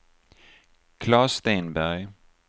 Claes Stenberg